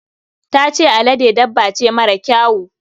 Ta ce alade dabba ce mara kyawu.